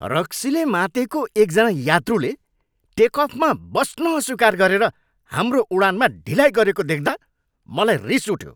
रक्सीले मातेको एक जना यात्रुले टेक अफमा बस्न अस्वीकार गरेर हाम्रो उडानमा ढिलाइ गरेको देख्दा मलाई रिस उठ्यो।